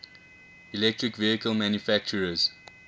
electric vehicle manufacturers